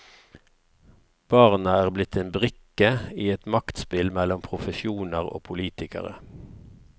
Barna er blitt en brikke i et maktspill mellom profesjoner og politikere.